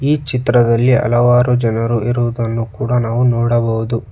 ಈ ಚಿತ್ರದಲ್ಲಿ ಹಲವಾರು ಜನರು ಇರುವುದನ್ನು ಕೂಡ ನಾವು ನೋಡಬಹುದು.